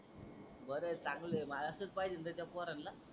बर आहे चांगल आहे मार असच पाहिजे न त्याचा पोरानला.